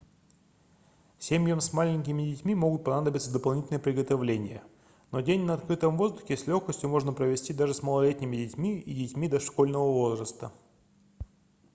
семьям с маленькими детьми могут понадобиться дополнительные приготовления но день на открытом воздухе с легкостью можно провести даже с малолетними детьми и детьми дошкольного возраста